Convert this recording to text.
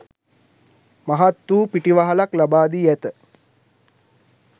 මහත් වූ පිටිවහලක් ලබා දී ඇත.